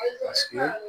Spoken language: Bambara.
Paseke